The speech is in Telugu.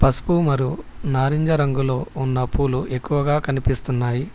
పసుపు మరు నారింజ రంగులో ఉన్న పూలు ఎక్కువగా కనిపిస్తున్నాయి.